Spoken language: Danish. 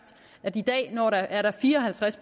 at i dag er der fire og halvtreds